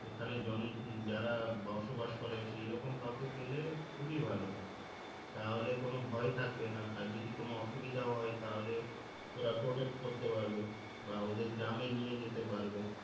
ওখানে যারা বসবাস করে সেই রকম কাউকে পেলে খুবই ভালো তাহলে কোন ভয় থাকবে না আর যদি কোন অসুবিধা হয় তাহলে ওরা করতে পারবে বা ওদের গ্রামে নিয়ে যেতে পারবে